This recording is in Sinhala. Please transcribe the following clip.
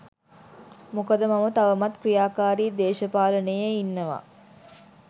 මොකද මම තවමත් ක්‍රියාකාරි දේශපාලනයේ ඉන්නවා.